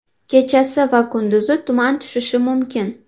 Kechasi va kunduzi tuman tushishi mumkin.